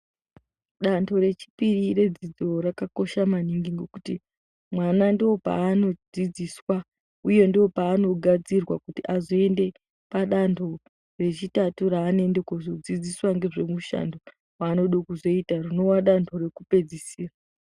Dando rechipiri redzidzo rakakosha maningi ngokuti mwana ndoopaanodzidziswa uye ndoopanogadzirwa kuti azoende padando rechitatu raanoende kuzodzidziswa ngezvemushando waanode kuzoita, rinova dando rekupedzisira.